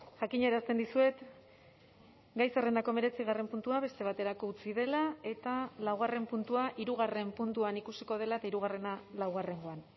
jakinarazten dizuet gai zerrendako hemeretzigarren puntua beste baterako utzi dela eta laugarren puntua hirugarren puntuan ikusiko dela eta hirugarrena laugarrengoan